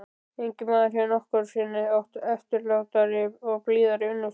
Enginn maður hefur nokkru sinni átt eftirlátari og blíðari unnustu.